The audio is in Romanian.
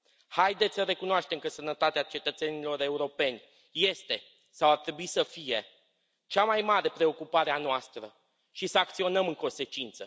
Haideți să recunoaștem că sănătatea cetățenilor europeni este sau ar trebui să fie cea mai mare preocupare a noastră și să acționăm în consecință!